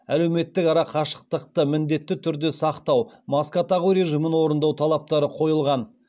әлеуметтік арақашықтықты міндетті түрде сақтау маска тағу режимін орындау талаптары қойылған